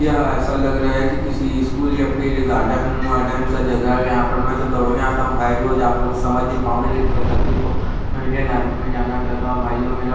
यह ऐसा लग रहा है कि किसी स्कूल या फिर गार्डन वार्डन का जगह है यहाँ पर मैं तो दौड़ने आता हूँ भाई रोज आप लोग समझ नई पाओगे लेकिन मेरी तकलीफ को मैं इंडियन आर्मी में जाना चाहता हूँ भाईयो मेरा--